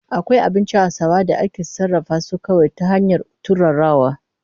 Akwai abincin Hausawa da ake sarrafa su kawai ta hanyar turarawa.